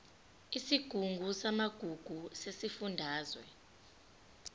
isigungu samagugu sesifundazwe